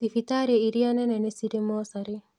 Thibitarĩ iria nene nĩ cirĩ mocarĩ